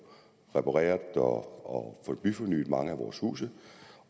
repareret og få byfornyet mange af vores huse